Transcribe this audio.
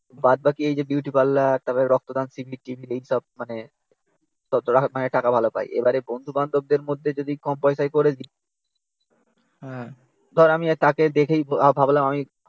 বাদবাকি এই যে বিউটি পার্লার তারপর রক্তদান শিবির টিবির এইসব মানে টাকা ভালো পাই। এবারে বন্ধুবান্ধবদের মধ্যে যদি কম পয়সায় করে দিই ধর আমি তাকে দেখেই ভাবলাম আমি